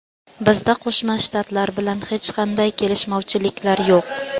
Bizda Qo‘shma Shtatlar bilan hech qanday kelishmovchiliklar yo‘q.